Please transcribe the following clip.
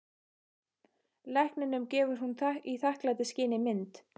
Lækninum gefur hún í þakklætisskyni mynd.